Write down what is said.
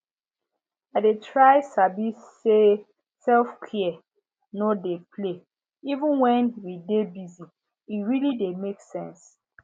i dey try sabi say selfcare no be play even when we dey busye really dey make sense